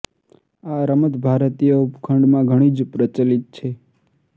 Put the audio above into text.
આ રમત ભારતીય ઉપખંડમાં ઘણી જ પ્રચલિત છે